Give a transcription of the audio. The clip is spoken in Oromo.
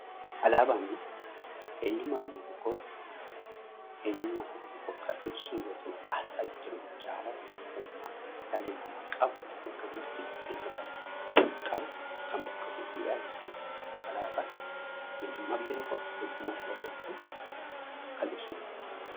Alaabaan eenyummaa biyya tokkoo, saba tokkoo kan ibsu yoo ta'u; aasxaa jechuun immoo jaalala tokkummaa dhalli namaa qabu walitti dhufeenya dhalli namaa qabu kan bakka buutuudha jechuu dha. Alaabaan eenyummaa biyya tokkoo, saba tokkoo kan ibsuudha.